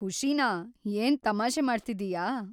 ಖುಷಿನಾ? ಏನ್ ತಮಾಷೆ ಮಾಡ್ತಿದ್ದೀಯಾ?